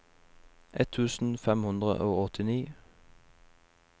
ett tusen fem hundre og åttini